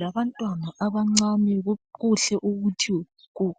Labantwana abancane kuhle ukuthi